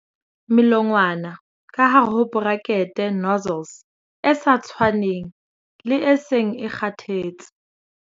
Melongwana ka hare ho bracket nozzles e sa tshwaneng, le e seng e kgathetse.